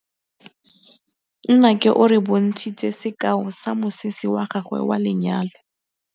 Nnake o re bontshitse sekaô sa mosese wa gagwe wa lenyalo.